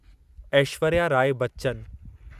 Aishwarya Rai Bachchan